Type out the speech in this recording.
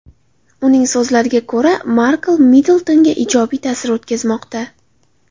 Uning so‘zlariga ko‘ra, Markl Middltonga ijobiy ta’sir o‘tkazmoqda.